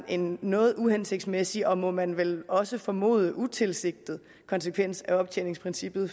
en noget uhensigtsmæssig og må man vel også formode utilsigtet konsekvens af optjeningsprincippet